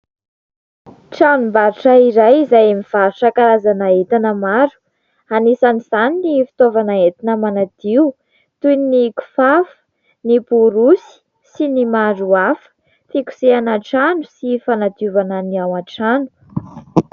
Tranombarotra iray izay mivarotra karazana entana maro. Anisan'izany ny fitaovana entina manadio toy ny kifafa, ny borosy sy ny maro hafa, fikosehana trano sy fanadiovana ny ao an-trano.